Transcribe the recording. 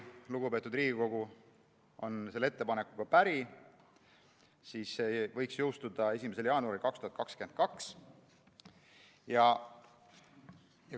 Kui lugupeetud Riigikogu on selle ettepanekuga päri, siis see võiks jõustuda 1. jaanuaril 2022.